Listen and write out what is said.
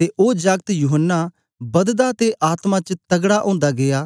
ते ओ जागत यूहन्ना बददा ते आत्मा च तकड़ा ओंदा गीया